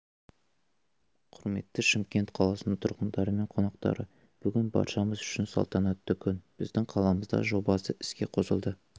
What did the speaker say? құрметті шымкент қаласының тұрғындары мен қонақтары бүгін баршамыз үшін салтанатты күн біздің қаламызда жобасы іске қосылды